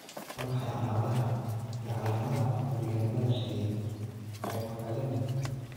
Waa maxay calaamadaha iyo calaamadaha curyaannimada xilliyeed hypokalemic?